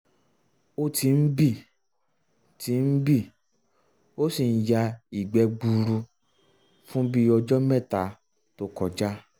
o ti ń bì ti ń bì ó sì ń ya ìgbẹ́ gbuuru fún bíi um ọjọ mẹ́ta to um kọja